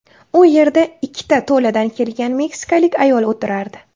U yerda ikkita to‘ladan kelgan meksikalik ayol o‘tirardi.